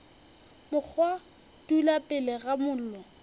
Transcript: mokgwa dula pele ga mollo